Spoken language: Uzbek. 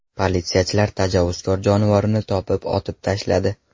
Politsiyachilar tajovuzkor jonivorni topib, otib tashladi.